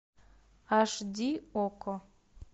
аш ди окко